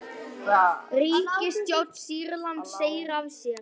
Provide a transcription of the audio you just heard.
Ríkisstjórn Sýrlands segir af sér